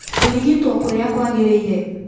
Kũrigitwo kũrĩa kwagĩrĩire